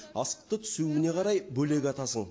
асықты түсуіне қарай бөлек атасың